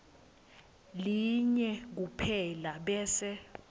linye kuphela bese